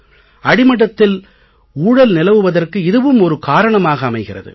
அடிமட்டத்தில் ஊழல் நிலவுவதற்கு இதுவும் ஒரு காரணமாக அமைகிறது